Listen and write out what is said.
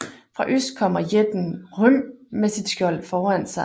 Fra øst kommer jætten Hrym med sit skjold foran sig